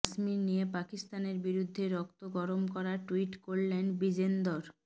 কাশ্মীর নিয়ে পাকিস্তানের বিরুদ্ধে রক্ত গরম করা টুইট করলেন বিজেন্দর